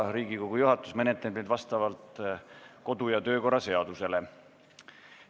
Riigikogu juhatus menetleb neid vastavalt kodu- ja töökorra seadusele.